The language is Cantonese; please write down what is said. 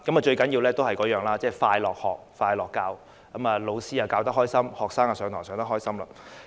最重要的一點，就是快樂學、快樂教——老師開心的教學，學生也能開心的上課。